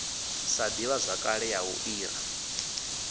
sa divhazwakale ya u ira